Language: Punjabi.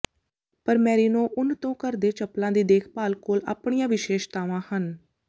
ਪਰ ਮੈਰੀਨੋ ਉੱਨ ਤੋਂ ਘਰ ਦੇ ਚੱਪਲਾਂ ਦੀ ਦੇਖਭਾਲ ਕੋਲ ਆਪਣੀਆਂ ਵਿਸ਼ੇਸ਼ਤਾਵਾਂ ਹਨ